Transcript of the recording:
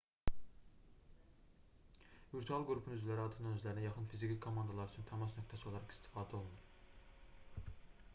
virtual qrupun üzvləri adətən özlərinə yaxın fiziki komandalar üçün təmas nöqtəsi olaraq istifadə olunur